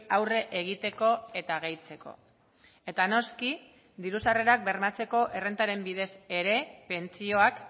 aurre egiteko eta gehitzeko eta noski diru sarrerak bermatzeko errentaren bidez ere pentsioak